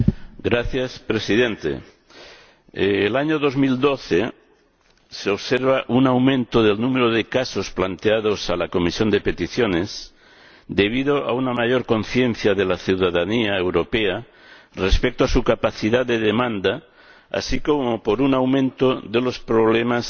Señor Presidente, en el año 2012 se observa un aumento del número de casos planteados a la Comisión de Peticiones debido a una mayor conciencia de la ciudadanía europea respecto a su capacidad de demanda, así como a un aumento de los problemas